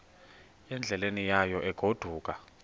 endleleni yayo egodukayo